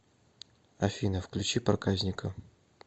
афина включи проказника